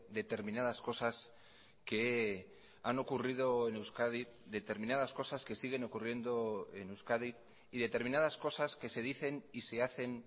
determinadas cosas que han ocurrido en euskadi determinadas cosas que siguen ocurriendo en euskadi y determinadas cosas que se dicen y se hacen